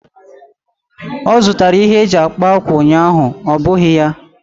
Ọ zụtara ihe eji akpa ákwà ụnyaahụ, ọ́ bụghị ya?